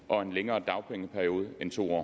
og en længere dagpengeperiode end to